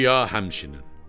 Bakıya həmçinin.